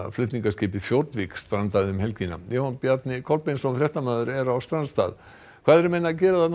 flutningaskipið strandaði um helgina Jóhann Bjarni Kolbeinsson fréttamaður er á strandstað hvað eru menn að gera